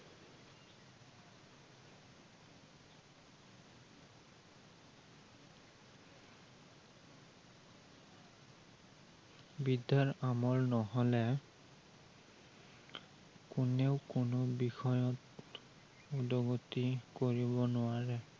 বিদ্য়াৰ আমাৰ নহলে কোনেও কোনো বিষয়ত উদ্গতি কৰিব নোৱাৰে।